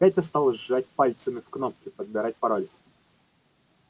петя стал жать пальцами в кнопки подбирать пароль